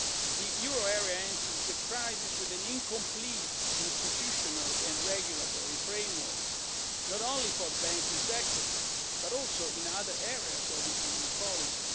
too. The euro area entered the crisis with an incomplete institutional and regulatory framework, not only for the banking sector but also in other areas of economic policy.